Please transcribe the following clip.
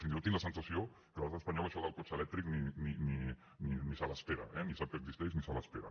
fins i tot tinc la sensació que l’estat espanyol això del cotxe elèctric ni se l’espera eh ni sap que existeix ni se l’espera